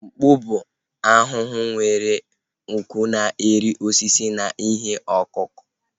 Mkpu bụ ahụhụ nwere nku na-eri osisi na ihe ọkụkụ